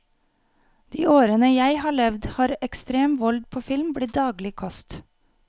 I de årene jeg har levd har ekstrem vold på film blitt daglig kost.